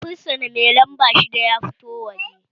Fursuna mai lamba shidda ya fito waje!